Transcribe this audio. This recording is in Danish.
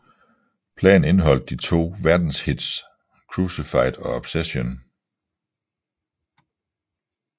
Pladen indeholdt de to verdenshits Crucified og Obsession